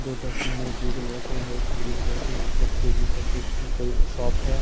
दो तस्वीर नए ब्लू कलर के एक ग्रीन कलर के यहां पे पेगी करके एक कोई शॉप है।